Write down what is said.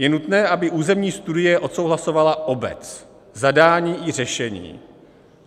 Je nutné, aby územní studie odsouhlasovala obec, zadání i řešení.